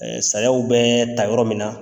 sayaw bɛ ta yɔrɔ min na.